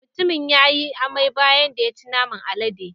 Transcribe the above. Mutumin ya yi amai bayan da ya ci naman aladen.